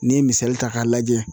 N'i ye misali ta k'a lajɛ